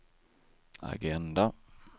agenda